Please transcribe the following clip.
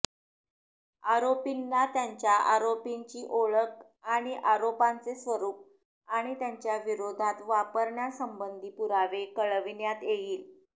आरोपींना त्यांच्या आरोपींची ओळख आणि आरोपांचे स्वरूप आणि त्यांच्या विरोधात वापरण्यासंबंधी पुरावे कळविण्यात येईल